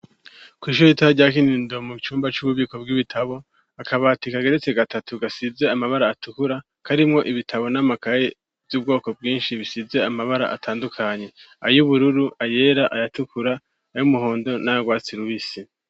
Kw' ishuri ritoya rya kinindo mu cumba c'ububiko bw'ibitabo, akabati ka geretse gatatu, gasize Amabara Atukura, karimwo ibitabo n'amakayi y'ubwoko bwinshi, bisize Amabara atandukanye ,ay' ubururu ,ayera ayatukura ,ay'umuhondo nayu rwatsi rubisi.